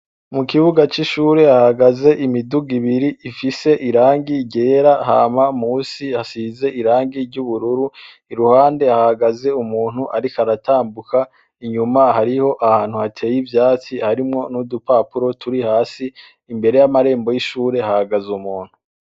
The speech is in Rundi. Mu kibuga c'ishure hahagaze imiduga ibiri ifise irangi ryera. Hama munsi hasize irangi ry'ubururu. Iruhande hahagaze umuntu ariko aratambuka. Inyuma hariyo ahantu hateye ivyatsi harimwo n'udupapuro turi hasi. Imbere y'amarembo y'ishure hahagaze umuntu.